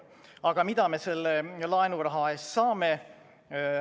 Aga mida me selle laenuraha eest saame?